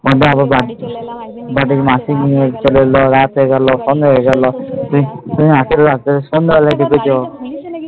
বাড়ি চলে এলাম এবার দেখি মাসি নিয়ে চলে এলো রাত্রে গেল সন্ধে হয়ে গেল